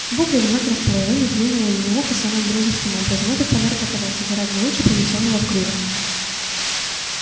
букля в знак расположения клюнула его в ухо самым дружеским образом этот подарок оказался гораздо лучше принесённого в клюве